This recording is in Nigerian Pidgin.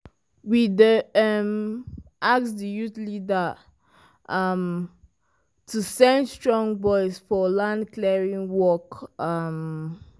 we dey um ask di youth leader um to send strong boys for land clearing work. um